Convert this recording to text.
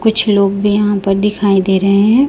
कुछ लोग भी यहाॅं पर दिखाई दे रहें हैं।